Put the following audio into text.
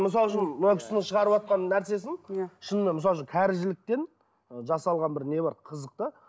мысалы үшін мына кісінің шығарыватқан нәрсесін иә шынымен мысалы үшін кәрі жіліктен жасалған бір не бар қызық та